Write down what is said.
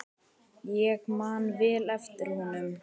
Ég man vel eftir honum.